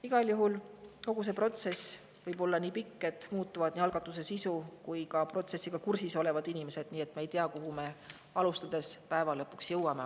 Igal juhul kogu see protsess võib olla nii pikk, et muutuvad nii algatuse sisu kui ka protsessiga kursis olevad inimesed, nii et me ei tea, kuhu me päeva lõpuks jõuame.